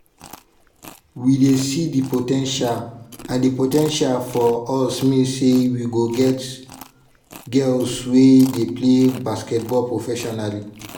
"we dey see di po ten tial and di po ten tial for us mean say we go get girls wey dey pay basketball professionally."